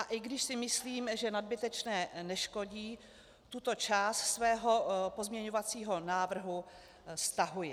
A i když si myslím, že nadbytečné neškodí, tuto část svého pozměňovacího návrhu stahuji.